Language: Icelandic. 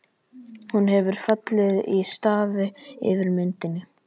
Hún hefur fallið í stafi yfir myndinni.